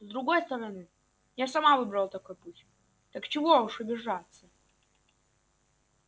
с другой стороны я сама выбрала такой путь так что чего уж обижаться